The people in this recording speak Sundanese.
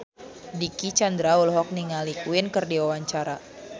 Dicky Chandra olohok ningali Queen keur diwawancara